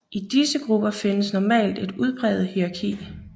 I disse grupper findes normalt et udpræget hierarki